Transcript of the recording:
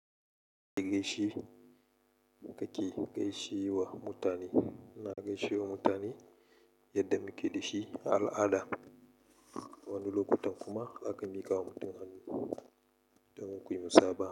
Ka ke gaishe, kake gaishe wa mutani. Ina gaishe wa mutani, yadda muke dashi a al'ada. Wani lokutan kuma zaka mikawa mutum hannu domin kuyi musaba.